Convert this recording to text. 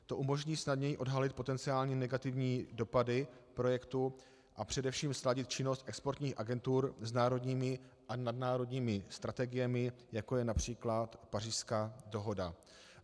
To umožní snadněji odhalit potenciální negativní dopady projektů a především sladit činnost exportních agentur s národními a nadnárodními strategiemi, jako je například Pařížská dohoda.